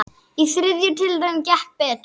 Í þriðju tilraun gekk betur.